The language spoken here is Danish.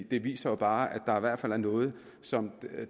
det viser jo bare at hvert fald er noget som